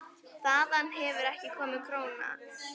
Þaðan hefur ekki komið króna.